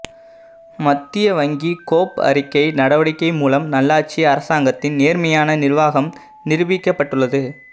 மத்திய வங்கி கோப் அறிக்கை நடவடிக்கை மூலம் நல்லாட்சி அரசாங்கத்தின் நேர்மையான நிர்வாகம் நிருபிக்கப்பட்டுள்ளது